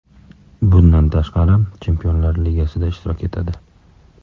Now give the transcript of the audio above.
Bundan tashqari, Chempionlar ligasida ishtirok etadi.